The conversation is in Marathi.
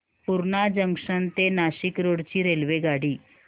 पूर्णा जंक्शन ते नाशिक रोड ची रेल्वेगाडी